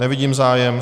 Nevidím zájem.